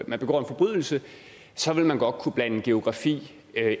man begår en forbrydelse så ville man godt kunne blande geografi